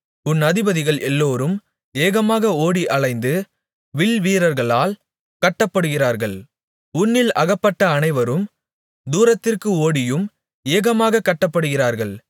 உன் அதிபதிகள் எல்லோரும் ஏகமாக ஓடி அலைந்தும் வில்வீரர்களால் கட்டப்படுகிறார்கள் உன்னில் அகப்பட்ட அனைவரும் தூரத்திற்கு ஓடியும் ஏகமாகக் கட்டப்படுகிறார்கள்